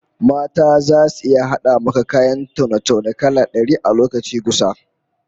Mata zasu iya hada maka kayan taune-taune kala dari a lokaci gusa